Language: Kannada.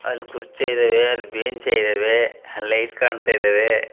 ಅಲ್ಲಿ ಕುರ್ಚಿ ಇದಾವೆ ಅಲ್ಲಿ ಬೆಂಚ್ಸ್ ಇದಾವೆ ಅಲ್ಲಿ ಲೈಟ್ಸ್ ಕಾಣ್ತಾ ಇದಾವೆ.